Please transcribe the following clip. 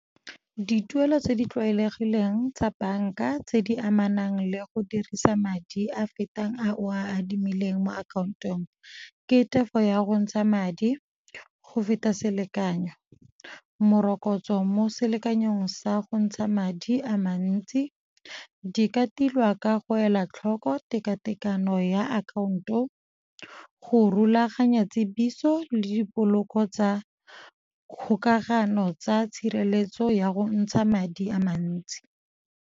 Dituelo tse di tlwaelegileng tsa banka tse di amanang le go dirisa madi a fetang a o a adimileng mo akhaontong ke tefo ya go ntsha madi go feta selekanyo, morokotso mo selekanyong sa go ntsha madi a mantsi. Di ka tilwa ka go ela tlhoko tekatekano ya akhaonto, go rulaganya tsebiso le dipoloko tsa kgokagano tsa tshireletso ya go ntsha madi a mantsi.